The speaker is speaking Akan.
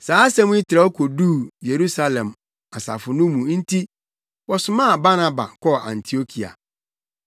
Saa asɛm yi trɛw koduu Yerusalem asafo no mu nti wɔsomaa Barnaba kɔɔ Antiokia.